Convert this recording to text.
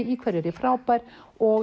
í hverju er ég frábær og